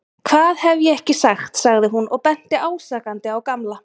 Hvað hef ég ekki sagt sagði hún og benti ásakandi á Gamla.